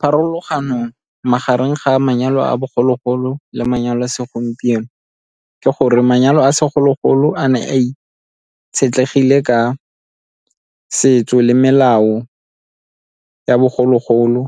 Pharologanong magareng ga manyalo a bogologolo le manyalo a segompieno ke gore manyalo a segologolo a ne a itshetlegile ka setso le melao ya bogologolo,